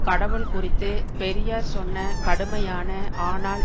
கடவுள் குறித்து பெரியார் சொன்ன கடுமையான ஆனால்